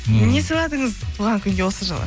не сыйладыңыз туған күнге осы жылы